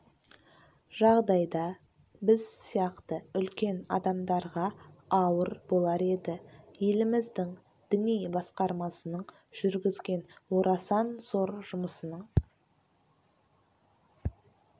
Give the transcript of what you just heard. жағдайда біз сияқты үлкен адамдарға ауыр болар еді еліміздің діни басқармасының жүргізген орасан зор жұмысының